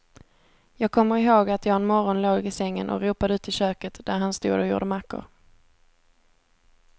Jag kommer ihåg att jag en morgon låg i sängen och ropade ut i köket där han stod och gjorde mackor.